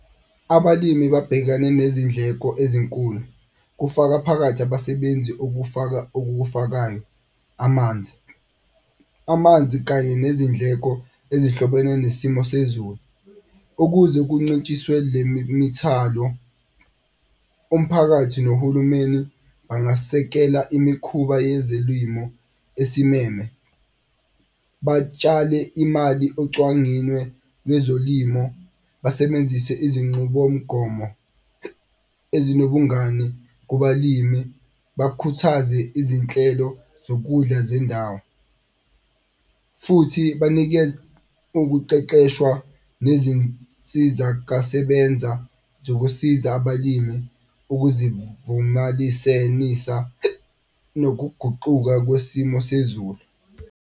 Abalimi babhekane nezindleko ezinkulu kufaka phakathi abasebenzi okufakayo amanzi. Amanzi kanye nezindleko ezihlobene nesimo sezulu ukuze kuncintshiswe le mithalo, umphakathi nohulumeni bangasekela imikhuba yezelwimo esimeme. Batshale imali lwezolimo basebenzise izinqubomgomo ezinobungani kubalimi. Bakhuthaze izinhlelo zokudla zendawo futhi banikeze ukuqeqeshwa nezinsizakasebenza zokusiza abalimi nokuguquka kwesimo sezulu.